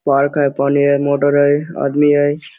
Park है पानी है मोटर है आदमी है।